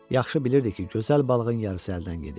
Yaxşı bilirdi ki, gözəl balığın yarısı əldən gedib.